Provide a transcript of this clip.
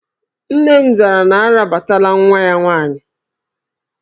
Nne m zara na arabatala nwa ya nwaanyị